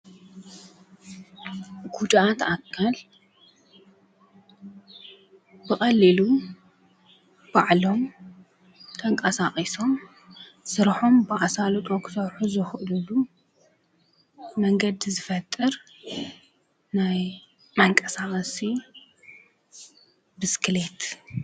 በዓል ሰለስተ እግሪ ብቻርጅ ዝሰርሕ ተሽከርካሪ ኮይኑ ንጉድኣት ኣካል ዓብይ ጥቅሚ ዘለዎ ካብ ቦታ ናብ ቦታ መንቀሳቀሲ ይጠቅም።